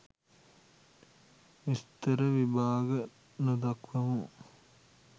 විස්තර විභාග නොදක්වමු.